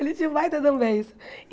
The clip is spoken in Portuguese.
Ele tinha um baita de um beiço.